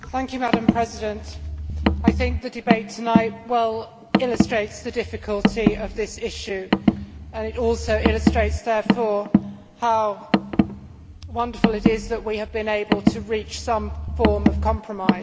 Madam President, I think the debate tonight well illustrates the difficulty of this issue, and it also illustrates, therefore, how wonderful it is that we have been able to reach some form of compromise.